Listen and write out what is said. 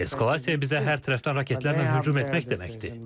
Eskalasiya bizə hər tərəfdən raketlərlə hücum etmək deməkdir.